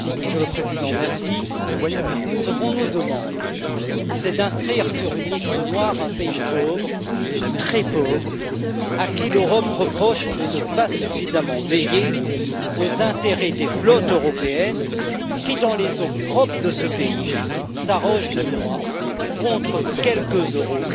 Monsieur le Président, ce qu'on nous demande, c'est d'inscrire sur une liste noire un pays pauvre, très pauvre, à qui l'Europe reproche de ne pas veiller suffisamment aux intérêts des flottes européennes qui, dans les eaux propres de ce pays, s'arrogent le droit, contre quelques euros,